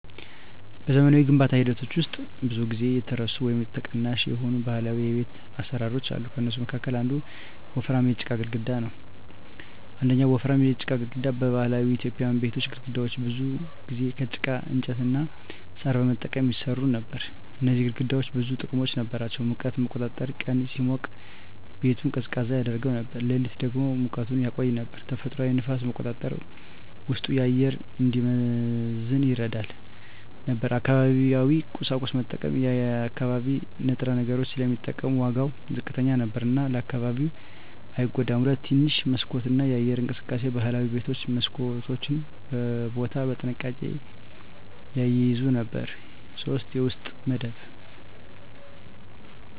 በዘመናዊ የግንባታ ሂደቶች ውስጥ ብዙ ጊዜ የተረሱ ወይም ተቀናሽ የሆኑ ባህላዊ የቤት አሰራሮች አሉ። ከእነሱ መካከል አንዱ ወፍራም የጭቃ ግድግዳ ነው። 1. ወፍራም የጭቃ ግድግዳ በባህላዊ ኢትዮጵያዊ ቤቶች ግድግዳዎች ብዙ ጊዜ ከጭቃ፣ እንጨት እና ሣር በመጠቀም ይሰሩ ነበር። እነዚህ ግድግዳዎች ብዙ ጥቅሞች ነበራቸው፦ ሙቀትን መቆጣጠር – ቀን ሲሞቅ ቤቱን ቀዝቃዛ ያደርገው ነበር፣ ሌሊት ደግሞ ሙቀቱን ያቆይ ነበር። ተፈጥሯዊ ንፋስ መቆጣጠር – ውስጡ አየር እንዲመዘን ይረዳ ነበር። አካባቢያዊ ቁሳቁስ መጠቀም – የአካባቢ ንጥረ ነገሮች ስለሚጠቀሙ ዋጋው ዝቅተኛ ነበር እና ለአካባቢው አይጎዳም። 2. ትንሽ መስኮት እና የአየር እንቅስቃሴ ባህላዊ ቤቶች መስኮቶችን በቦታ በጥንቃቄ ይያዙ ነበር። 3. የውስጥ መደብ